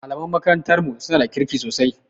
Malaman makarantar mu suna da kirki sosai